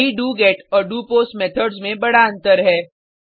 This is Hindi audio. यही डोगेट और डोपोस्ट मेथड्स में बड़ा अंतर है